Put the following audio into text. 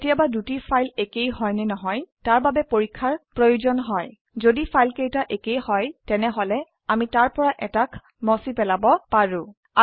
কেতিয়াবা দুটি ফাইল একেই হয় নে নহয় তাৰ বাবে পৰীক্ষাৰ প্ৰয়োজন হয় যদি ফাইলকেইটা একেই হয় তেনেহলে আমি তাৰ পৰা এটাক মুছে পেলাব পাৰো